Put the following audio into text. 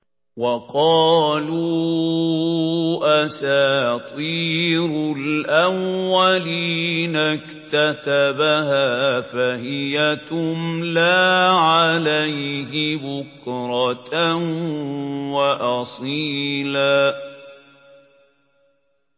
وَقَالُوا أَسَاطِيرُ الْأَوَّلِينَ اكْتَتَبَهَا فَهِيَ تُمْلَىٰ عَلَيْهِ بُكْرَةً وَأَصِيلًا